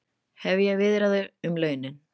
Hefja viðræður um launin